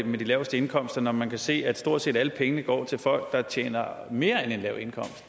med de laveste indkomster når man kan se at stort set alle pengene går til folk der tjener mere end en lav